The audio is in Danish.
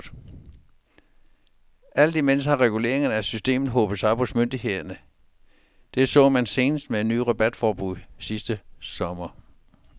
Alt imens har reguleringerne af systemet hobet sig op hos myndighederne, det så man senest med et nyt rabatforbud sidste sommer.